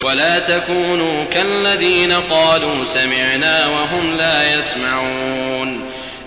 وَلَا تَكُونُوا كَالَّذِينَ قَالُوا سَمِعْنَا وَهُمْ لَا يَسْمَعُونَ